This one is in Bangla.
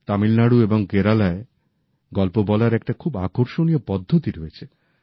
তামিলনাড়ু এবং কেরালায় গল্প বলার একটি খুব আকর্ষণীয় পদ্ধতি রয়েছে